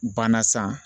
Banna san